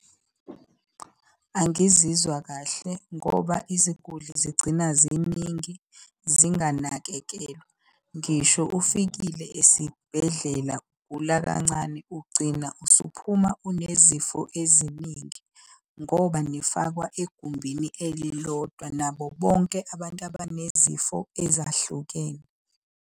Angizizwa kahle ngoba iziguli zigcina ziningi zinganakekelwa. Ngisho ufikile esibhedlela ugula kancane, ugcina usuphuma unezifo eziningi, ngoba nifakwa egumbini elilodwa nabo bonke abantu abanezifo ezahlukene.